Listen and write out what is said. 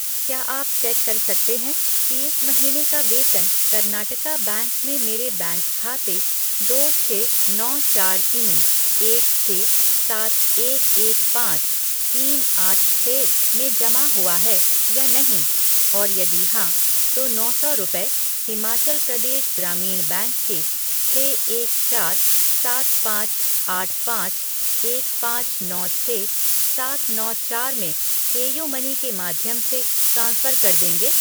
क्या आप चेक कर सकते हैं कि इस महीने का वेतन कर्नाटका बैंक में मेरे बैंक खाते दो छः नौ चार तीन एक छः सात एक एक पाँच तीन आठ छः में जमा हुआ है या नहीं और यदि हाँ, तो नौ सौ रुपये हिमाचल प्रदेश ग्रामीण बैंक के छः एक चार सात पाँच आठ पाँच एक पाँच नौ छः सात नौ चार में पेयूमनी के माध्यम से ट्रांसफ़र कर देंगे?